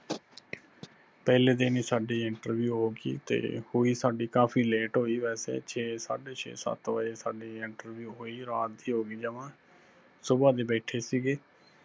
ਪਹਿਲੇ ਦਿੰਨ ਹੀ ਸਾਡੀ interview ਹੋਗੀ, ਤੇ ਹੋਈ ਸਾਡੀ ਕਾਫ਼ੀ late ਹੋਈ ਵੈਸੇ ਛੇ ਸਾਡੇ ਛੇ ਸੱਤ ਵਜੇ ਸਾਡੀ interview ਹੋਈ, ਰਾਤ ਹੀ ਹੋ ਗਈ ਜਵਾਂ, ਸੁਬਾਹ ਦੇ ਬੈਠੇ ਸਿਗੇ